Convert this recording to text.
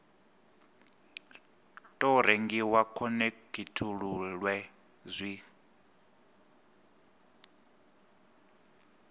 tou rengiwa u khonekhithululwe zwi